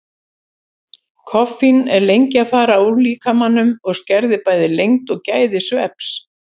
Koffín er lengi að fara úr líkamanum og skerðir bæði lengd og gæði svefns.